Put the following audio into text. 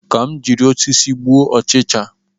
Ka m jiri osisi gbuo ọchịcha